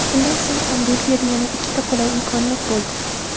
Shundan so‘ng ham Belgiyada yana ikkita qulay imkoniyat bo‘ldi.